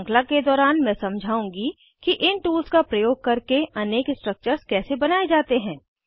श्रृंखला के दौरान मैं समझाउंगी कि इन टूल्स का प्रयोग करके अनेक स्ट्रक्चर्स कैसे बनाये जाते हैं160